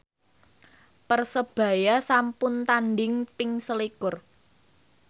Persebaya sampun tandhing ping selikur